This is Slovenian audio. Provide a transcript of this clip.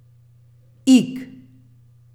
Ig.